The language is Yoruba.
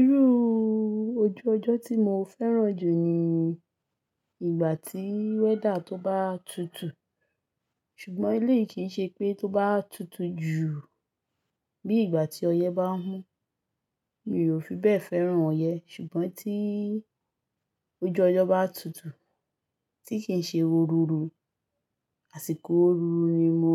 Irú ojú ọjọ́ tí mo fẹ́ràn jù ni ìgbà tí wẹ́dà tó bá tutù, ṣùgbọ́n eléyìí kì í ṣe pé tó bá tutù jù bí ìgbà tí ọyẹ́ bá n mu, mi ò fi bẹ́ẹ̀ fẹ́ràn ọyẹ́. Ṣùgbọ́n tí ojú ọjọ́ bá tutù, tí kì í ṣe òróró, àsìkò òróró ni mo